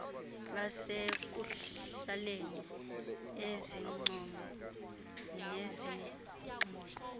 basekuhlaleni izincomo nezigxeko